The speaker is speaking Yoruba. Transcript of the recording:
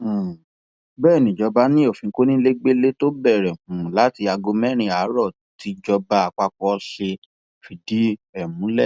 um bẹẹ níjọba ni òfin kónílégbélé tó bẹrẹ um láti aago mẹrin àárọ tìjọba àpapọ ṣe sì fìdí múlẹ